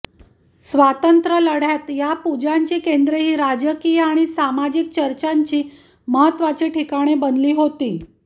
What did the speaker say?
स्वातंत्र्यलढ्यात या पूजांची केंद्रे ही राजकीय आणि सामाजिक चर्चांची महत्त्वाची ठिकाणे बनली होती